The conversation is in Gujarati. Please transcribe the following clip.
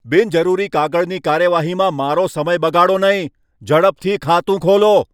બિનજરૂરી કાગળની કાર્યવાહીમાં મારો સમય બગાડો નહીં. ઝડપથી ખાતું ખોલો!